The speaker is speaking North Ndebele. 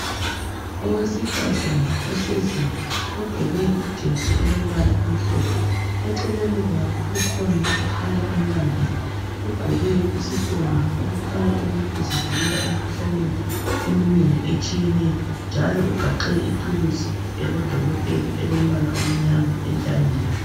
Owesifazane ohleziyo ogqoke ijesi elombala omhlophe , eceleni kwakhe kukhona okhanya embambile ugqoke isifonyo okukhanya ukuthi uzivikela emkhuhlaneni eminengi etshiyeneyo njalo ugaxe ithuluzi yabodokotela elombala omnyama entanyeni